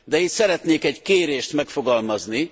De itt szeretnék egy kérdést megfogalmazni.